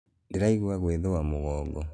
Ndĩraigua gwĩthũa mũgongo.